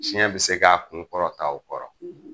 Tiɲɛ bɛ se k'a kun kɔrɔta o kɔrɔ